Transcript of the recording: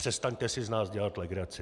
Přestaňte si z nás dělat legraci!